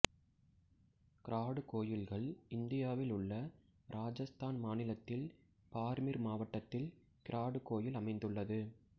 grad கோயில்கள் இந்தியாவில் உள்ள ராஜஷ்த்தான் மாநிலத்தில் பார்மிர் மாவட்டத்தில் கிராடு கோயில் அமைந்துள்ளது